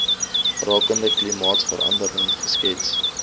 rakende klimaatsverandering geskets